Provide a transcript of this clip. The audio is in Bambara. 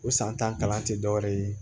O san tan kalan te dɔwɛrɛ ye